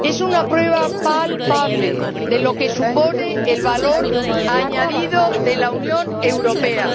Es una prueba palpable de lo que supone el valor añadido de la Unión Europea.